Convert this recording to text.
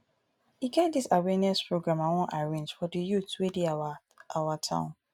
e get dis awareness program i wan arrange for the youths wey dey our our town